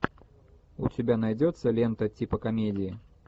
у тебя найдется лента типа комедии